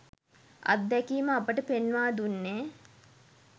අත්දැකීම අපට පෙන්වා දුන්නේ